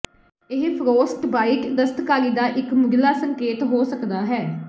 ਇਹ ਫ਼੍ਰੋਸਟਬਾਈਟ ਦਸਤਕਾਰੀ ਦਾ ਇਕ ਮੁਢਲਾ ਸੰਕੇਤ ਹੋ ਸਕਦਾ ਹੈ